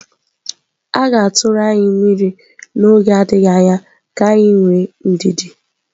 A ga-atụrụ anyị mmiri n'oge adịghị anya, ka anyị nwee ndidi.